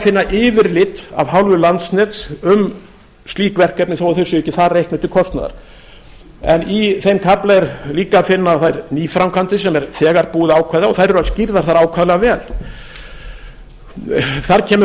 finna yfirlit af hálfu landsnets um slík verkefni þó þau séu ekki þar reiknuð til kostnaðar en í þeim kafla er líka að finna þær nýframkvæmdir sem er þegar búið að ákveða og þær eru skýrðar þar ákaflega vel þar kemur